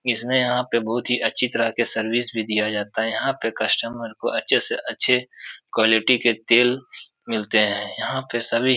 इसमे यहाँ पे बहुत ही अच्छी तरह के सर्विस भी दिया जाता है| यहाँ पे कस्टमर को अच्छे से अच्छे क्वालिटी के तेल मिलते हैं| यहाँ पे